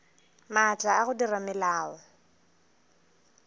maatla a go dira melao